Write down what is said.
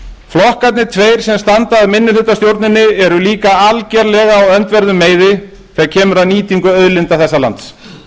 flokkarnir tveir sem standa að minnihlutastjórninni eru líka algerlega á öndverðum meiði þegar kemur að nýtingu auðlinda þessa lands